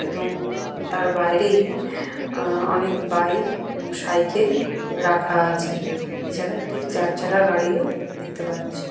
এবং তার বাইরেই আহ অনেক বাইক এবং সাইকেল রাখা আছে। এছাড়া একটি চারচাকা গাড়িও দেখতে পাচ্ছি।